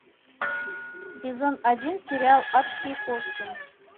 сезон один сериал адские кошки